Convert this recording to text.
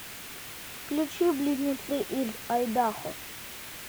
включи близнецы из айдахо